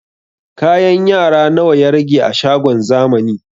Kayan yara nawa ya rage a shagon zamani?